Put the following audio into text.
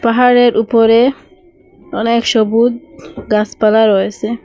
ঘরের উপরে অনেক সবুজ গাসপালা রয়েসে ।